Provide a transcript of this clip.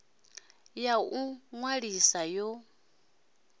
ya u ḓi ṅwalisa yo